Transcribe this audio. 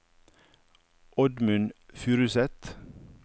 Oddmund Furuseth